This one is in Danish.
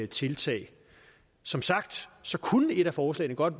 tiltag som sagt kunne et af forslagene godt